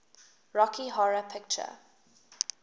rocky horror picture